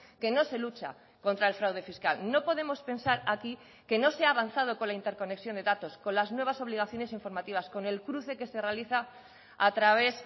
que no se lucha contra el fraude fiscal no podemos pensar aquí que no se ha avanzado con la interconexión de datos con las nuevas obligaciones informativas con el cruce que se realiza a través